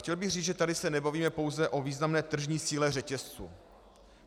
Chtěl bych říct, že tady se nebavíme pouze o významné tržní síle řetězců.